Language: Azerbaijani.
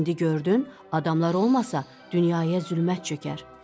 İndi gördün, adamlar olmasa, dünyaya zülmət çökər.